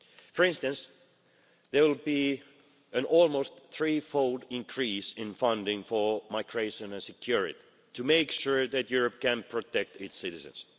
For instance, there will be an almost three fold increase in funding for migration and security, to make sure that Europe can protect its citizens.